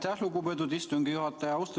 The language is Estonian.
Aitäh, lugupeetud istungi juhataja!